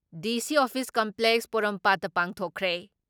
DC office complex ꯄꯣꯔꯣꯝꯄꯥꯠꯇ ꯄꯥꯡꯊꯣꯛꯈ꯭ꯔꯦ ꯫